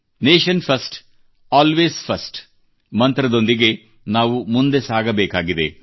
Nation first always ಫರ್ಸ್ಟ್ಮಂತ್ರದೊಂದಿಗೆ ನಾವು ಮುಂದೆ ಸಾಗಬೇಕಾಗಿದೆ